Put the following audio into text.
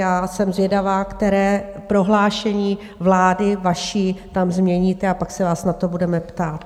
Já jsem zvědavá, které prohlášení vaší vlády tam změníte, a pak se vás na to budeme ptát.